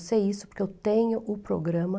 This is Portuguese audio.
Eu sei isso porque eu tenho o programa.